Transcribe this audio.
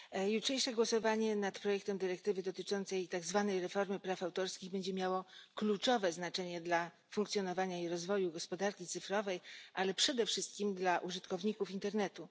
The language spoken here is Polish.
Jutrzejsze głosowanie nad projektem dyrektywy dotyczącej tzw. reformy praw autorskich będzie miało kluczowe znaczenie dla funkcjonowania i rozwoju gospodarki cyfrowej, ale przede wszystkim dla użytkowników internetu.